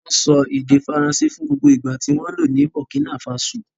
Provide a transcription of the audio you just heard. Wọ́n sọ èdè Faransé fún gbogbo ìgbà tí wọ́n lò ní Burkina Faso.